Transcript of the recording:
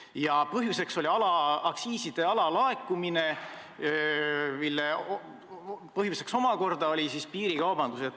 Ja põhjuseks oli aktsiiside alalaekumine, mille omakorda põhjustas piirikaubandus.